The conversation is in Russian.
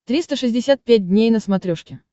триста шестьдесят пять дней на смотрешке